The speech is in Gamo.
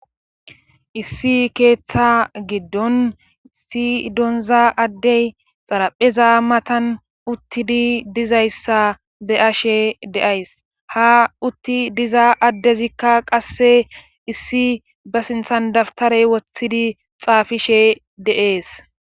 Issi keeththa giddon issi doonza addey xarapheza matan uttidi dizayssa be ashe deays ha utti diza addezikka qasse issi ba sinthan dabtarey woththidi xaafishe deees.